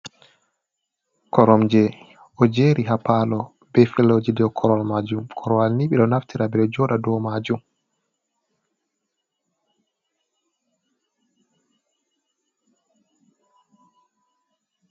Koromje o jeeri ha paalo be feloji be korowal maajum, korowal ni ɓe do naftira ɓe jooɗa dou maajum.